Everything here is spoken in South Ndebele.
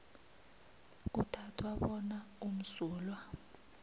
kuthathwa bona umsulwa